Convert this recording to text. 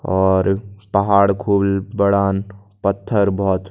और पहाड़ खूब बड़ान पत्थर बहोत --